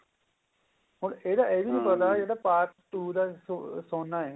ਹੁਣ ਇਹਦਾ ਇਹ ਵੀ ਨੀ ਪਤਾ ਵੀ part two ਦਾ ਸੋਨਾ ਹੈ